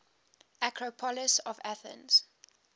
acropolis of athens